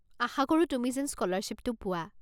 আশা কৰোঁ তুমি যেন স্ক'লাৰশ্বিপটো পোৱা।